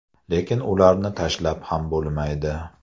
Lekin ularni tashlab ham bo‘lmaydi.